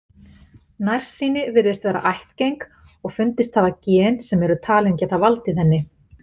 Nærsýni virðist vera ættgeng og fundist hafa gen sem eru talin geta valdið henni.